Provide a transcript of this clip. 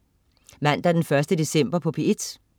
Mandag den 1. december - P1: